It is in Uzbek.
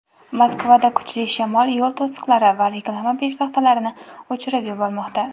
Moskvada kuchli shamol yo‘l to‘siqlari va reklama peshtaxtalarini uchirib yubormoqda.